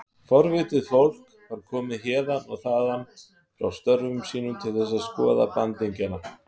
Forvitið fólk var komið héðan og þaðan frá störfum sínum til þess að skoða bandingjana.